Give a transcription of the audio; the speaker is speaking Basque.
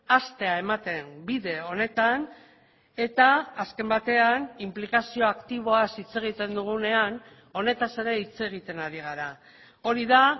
hastea ematen bide honetan eta azken batean inplikazio aktiboaz hitz egiten dugunean honetaz ere hitz egiten ari gara hori da